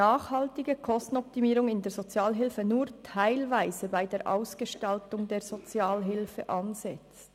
Nachhaltige Kostenoptimierung in der Sozialhilfe setzt nur teilweise an der Ausgestaltung der Sozialhilfe an.